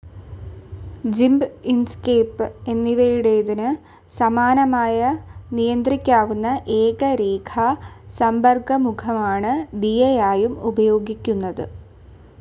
ജിമ്പ്, Inkscape എന്നിവയുടേതിന് സമാനമായ നിയന്ത്രിക്കാവുന്ന ഏക രേഖാ സമ്പർക്കമുഖമാണ് ദിയായായും ഉപയോഗിക്കുന്നത്.